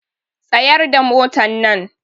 Tsayar da motannan!